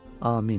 Amin.